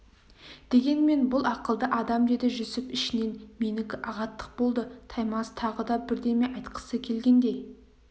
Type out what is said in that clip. дегенмен бұл ақылды адам деді жүсіп ішінен менікі ағаттық болды таймас тағы да бірдеме айтқысы келгендей